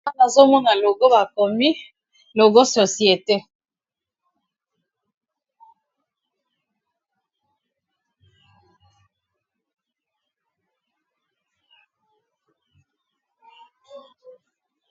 Awa Nazo mona logo ba komi logo société